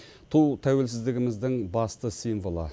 ту тәуелсіздігіміздің басты символы